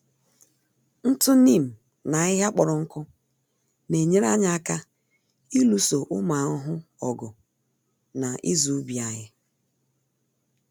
Ntụ Neem na ahịhịa kpọrọ nkụ n'enyere anyị aka ịlụso ụmụ ahụhụ ọgụ na ịzụ ubi anyị.